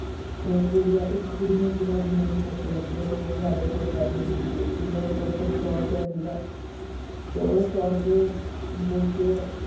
ਤੇ ਕੁੜੀਆਂ, ਇਕ ਕੁੜੀ ਨੇ ਕਿਹਾ ਵੀ ਮੈਨੂੰ ਭੁੱਖ ਲਗੀ ਆ, ਤੇ ਸਾਡੇ ਕੋਲ ਪੈਸੇ ਨੀ ਸੀਗੇ ਤੇ ਮੇਰੇ ਕੋਲ ਸਿਰਫ ਸੌ ਰੁਪਿਆ ਸੀਗਾ ਤੇ ਉਹ ਸੌ ਰੁਪਿਆ ਦੇਕੇ ਕੇ